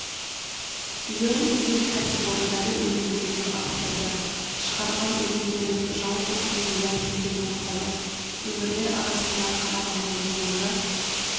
биыл ел кәсіпорындары өнімділігін арттырды шығарған өнімдерінің жалпы құны миллиард теңгеден асады өңірлер арасында қарағандының мойны